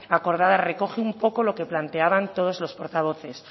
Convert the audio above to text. acodada recoge un poco lo que planteaban todos los portavoces